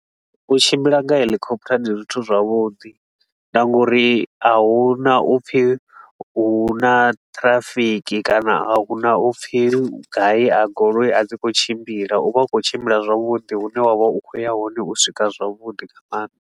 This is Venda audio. U tshimbila nga helikhoputa ndi zwithu zwavhuḓi na ngauri a huna upfi huna traffic kana a huna upfi gai a goloi a dzi khou tshimbila. U vha u khou tshimbila zwavhuḓi, hune wa vha u khou ya hone u swika zwavhuḓi nga maanḓa.